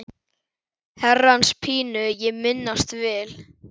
Herrans pínu ég minnast vil.